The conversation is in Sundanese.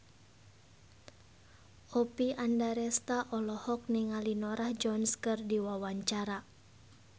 Oppie Andaresta olohok ningali Norah Jones keur diwawancara